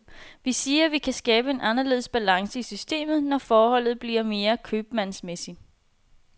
Vi siger, vi kan skabe en anderledes balance i systemet, når forholdet bliver mere købmandsmæssigt.